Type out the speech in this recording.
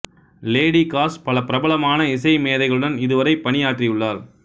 lady Kash பல பிரபலமான இசை மேதைகளுடன் இது வரை பணியாற்றியுள்ளார்